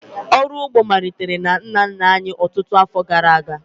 Ọrụ ugbo malitere na nna nna anyị ọtụtụ afọ gara aga